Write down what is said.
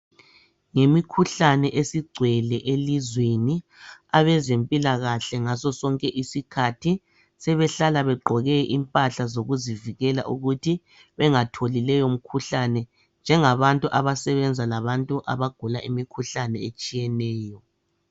Yimikhuhlane esigcwele elizweni abezempilakahle ngaso sonke isikhathi sebehlala begqoke impahla zokuzivikela ukuthi bengatholi leyo mikhuhlane njengabantu abasebenza labantu abagula imikhuhlane etshiyeneyo.